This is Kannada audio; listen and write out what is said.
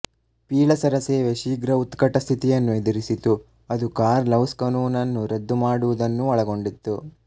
ಪೀಳಸರ ಸೇವೆ ಶೀಘ್ರ ಉತ್ಕಟ ಸ್ಥಿತಿಯನ್ನು ಎದುರಿಸಿತು ಅದು ಕಾರ್ನ್ ಲವ್ಸ್ಕನೂನನ್ನು ರದ್ದು ಮಾಡುವುದನ್ನು ಒಳಗೊಂಡಿತ್ತು